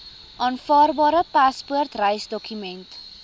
aanvaarbare paspoort reisdokument